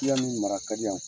ya min mara ka di yan.